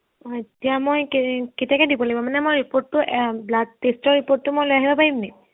হয় এতিয়া মই কে কেতিয়াকে দিব লাগিব মানে মই report টো এৰ blood test ৰ report টো মই লৈ আহিব পাৰিম নেকি